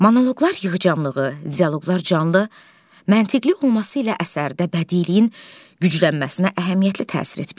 Monoqlar yığcamlığı, dialoqlar canlı, məntiqi olması ilə əsərdə bədiliyin güclənməsinə əhəmiyyətli təsir etmişdir.